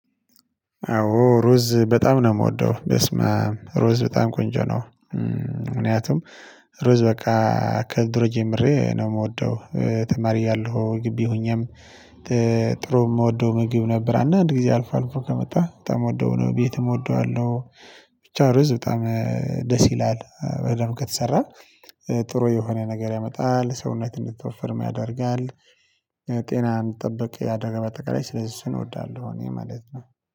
አዎ ሩዝ በጣም ነው የምወደው በስመ አብ ሩዝ በጣም ቆንጆ ነው። ምክንያቱም ሩዝ በቃ ከድሮ ጀምሬ ነው የምወደው ተማሪ ያለው ግቢ ሆኜም። ጥሩ የምወደው ምግብ ነበር አንድ ጊዜ አልፎ አልፎ ከመጣ በጣም የምወደው ነው ቤትም እወደዋለሁ። ብቻው ርዝ በጣም ደስ ይላል ወይም ከተሰራ ጥሩ የሆነ ነገር ያመጣል ሰውነት እንድትወፍር ያደርጋል። ጤናን እንድጠብቅ ያደረገ ባጠቃላይ ስለዚህ እሱን እዎዳለሁ እኔ ማለት ነው